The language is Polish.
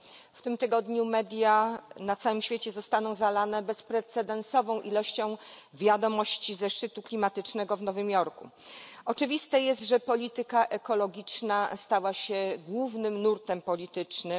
W tym tygodniu media na całym świecie zostaną zalane bezprecedensową ilością wiadomości ze szczytu klimatycznego w Nowym Jorku. Oczywiste jest, że polityka ekologiczna stała się głównym nurtem politycznym.